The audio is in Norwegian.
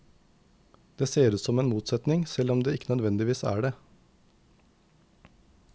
Det ser ut som en motsetning, selv om det ikke nødvendigvis er det.